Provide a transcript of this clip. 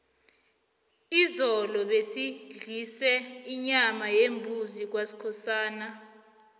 izolo basidlise inyama yembuzi kwaskhosana